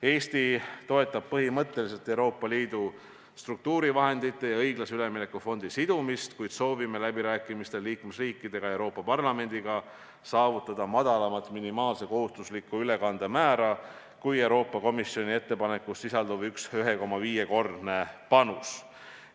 " Eesti põhimõtteliselt toetab Euroopa Liidu struktuurivahendite ja õiglase ülemineku fondi sidumist, kuid soovime läbirääkimistel liikmesriikidega ja Euroopa Parlamendiga saavutada madalamat minimaalse kohustusliku ülekande määra kui Euroopa Komisjoni ettepanekus sisalduv 1,5-kordne panus.